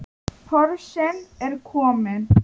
Porsinn er kominn.